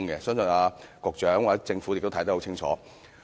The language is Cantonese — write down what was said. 相信局長及政府也知道得很清楚。